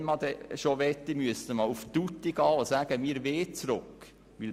Wenn man schon möchte, dann müsste man aufs Ganze gehen und sagen, dass wir zurück wollen.